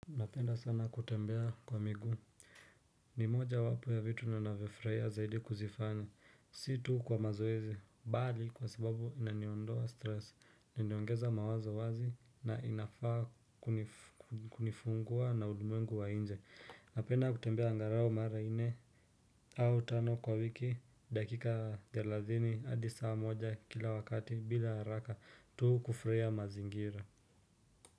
Napenda sana kutembea kwa miguu ni moja wapo ya vitu ninafurahia zaidi kuzifanya si tuu kwa mazoezi bali kwa sababu inaniondoa stress ninyongeza mawazo wazi na inafaa kunifungua na ulimwengu wa nje napenda kutembea angalao mara nne au tano kwa wiki dakika telathini hadi saa moja kila wakati bila haraka tuu kufurahia mazingira.